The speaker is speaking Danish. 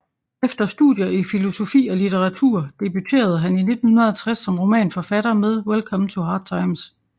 Efter studier i filosofi og litteratur debuterede han i 1960 som romanforfatter med Welcome to Hard Times